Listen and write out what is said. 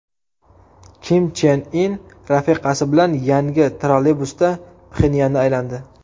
Kim Chen In rafiqasi bilan yangi trolleybusda Pxenyanni aylandi.